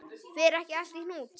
Fer ekki allt í hnút?